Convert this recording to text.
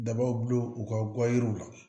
Dabaw bul'u ka guwa jiriw la